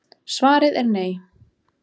Svarið er nei.